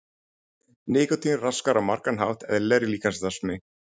Nikótín raskar á margan hátt eðlilegri líkamsstarfsemi.